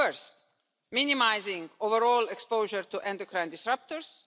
First, minimising overall exposure to endocrine disruptors.